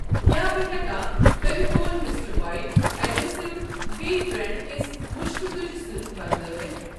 کیٛاہ بہٕ ہیٚکا فیویٖٖکول مِسٹر وایٹ اٮ۪ڈہٮ۪سِو بییٚہِ بریٚنڑ کِس مُشکہٕ تُجہٕ سۭتۍ بدلٲوَتھ؟